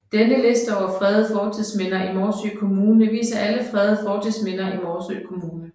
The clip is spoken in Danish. Denne liste over fredede fortidsminder i Morsø Kommune viser alle fredede fortidsminder i Morsø Kommune